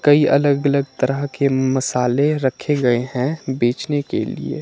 कई अलग अलग तरह के मसाले रखे गए हैं बेचने के लिए।